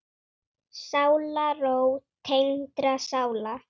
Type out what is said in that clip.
Sálarró tengdra sála.